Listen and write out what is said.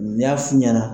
N y'a f'u ɲɛna